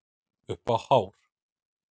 Upp á hár.